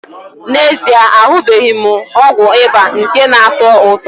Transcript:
N'ezie, ahụbeghị m ọgwụ ịba nke na-atọ ụtọ.